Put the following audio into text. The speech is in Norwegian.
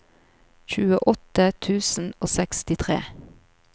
tjueåtte tusen og sekstitre